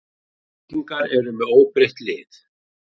Keflvíkingar eru með óbreytt lið.